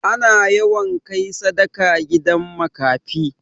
Ana yawan kai sadaka gidan makafi.